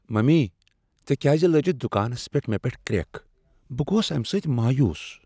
Mummy! ژےٚ کیٛاز لٲجتھ دکانس پیٹھ مےٚ پیٹھ کرٛیکھ، بہٕ گوس امہ سۭتۍ مایوس۔